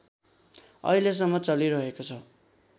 अहिलेसम्म चलिरहेको छ